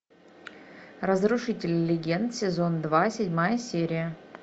разрушители легенд сезон два седьмая серия